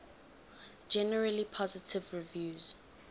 generally positive reviews